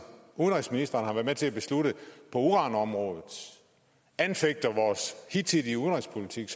udenrigsministeren har været med til at beslutte på uranområdet anfægter vores hidtidige udenrigspolitik